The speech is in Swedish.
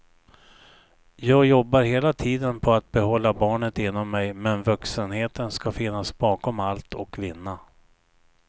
Jag jobbar hela tiden på att behålla barnet inom mig men vuxenheten ska finnas bakom allt och vinna.